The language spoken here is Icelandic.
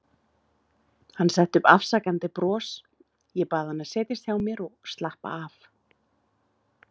Hann setti upp afsakandi bros, ég bað hann að setjast hjá mér og slappa af.